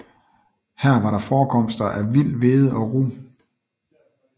Her var der forekomster af vild hvede og rug